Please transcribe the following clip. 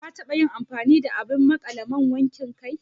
Ka taɓa yin amfani da abin maƙale man wankin kai